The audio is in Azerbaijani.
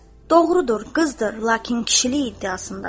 Doğrudur, qızdır, lakin kişilik iddiasındadır.